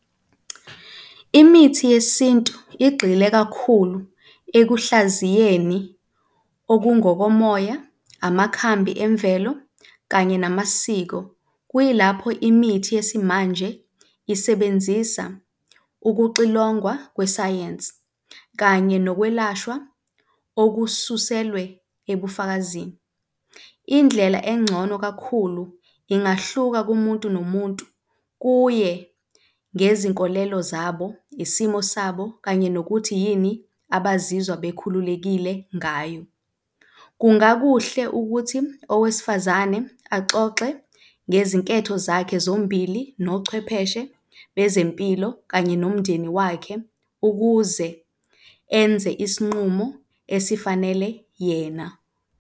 Imithi yesintu igxile kakhulu ekuhlaziyeni okungokomoya, amakhambi emvelo kanye namasiko. Kuyilapho imithi yesimanje isebenzisa ukuxilongwa kwesayensi kanye nokwelashwa okususelwe ebufakazini. Indlela engcono kakhulu ingahluka kumuntu nomuntu, kuye ngezinkolelo zabo, isimo sabo, kanye nokuthi yini abazizwa bekhululekile ngayo. Kungakuhle ukuthi owesifazane axoxe ngezinketho zakhe zombili nochwepheshe bezempilo kanye nomndeni wakhe ukuze enze isinqumo esifanele yena.